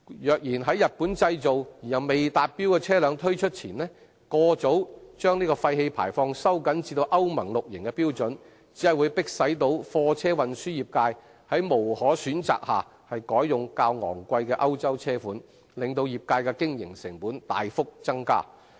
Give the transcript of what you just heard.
若然在日本製造而又未達標的車輛推出前，過早把廢氣排放標準收緊至歐盟 VI 期的標準，只會逼使貨車運輸業界在無可選擇下改用較昂貴的歐洲車款，令業界的經營成本大幅增加。